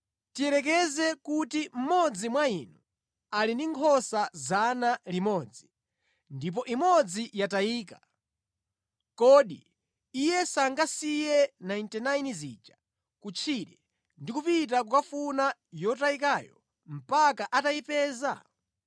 “Tiyerekeze kuti mmodzi mwa inu ali ndi nkhosa 100 ndipo imodzi yatayika, kodi iye sangasiye 99 zija kutchire ndi kupita kukafuna yotayikayo mpaka atayipeza?